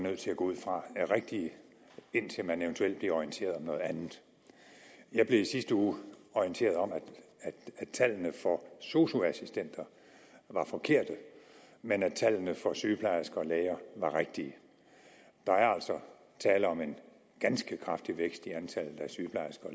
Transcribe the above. nødt til at gå ud fra er rigtige indtil man eventuelt bliver orienteret om noget andet jeg blev i sidste uge orienteret om at tallene for sosu assistenter var forkerte men at tallene for sygeplejersker og læger var rigtige der er altså tale om en ganske kraftig vækst i antallet af sygeplejersker